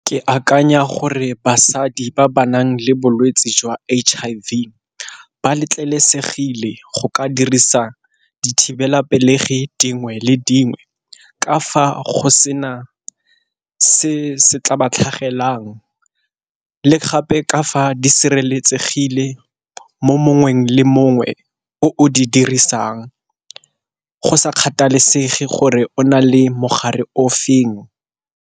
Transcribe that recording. Ke akanya gore basadi ba ba nang le bolwetsi jwa H_I_V ba letlelesegile go ka dirisa dithibelapelegi dingwe le dingwe, ka fa go sena se se tla ba tlhagelang le gape ka fa di sireletsegile mo mongwe le mongwe o o di dirisang go sa kgathalesege gore o na le mogare o feng.